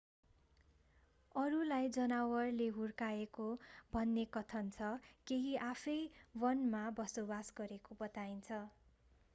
अरूलाई जनावरले हुर्काएको भन्ने कथन छ केही आफैं वनमा बसोबास गरेको बताइन्छ